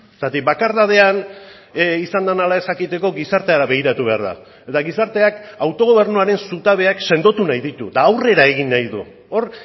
zergatik bakardadean izan den ala ez jakiteko gizartera begiratu behar da eta gizarteak autogobernuaren zutabeak sendotu nahi ditu eta aurrera egin nahi du hor